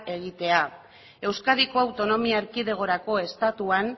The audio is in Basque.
egitea euskadiko autonomia erkidegorako estatuan